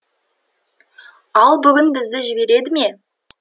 ал бүгін бізді жібереді ме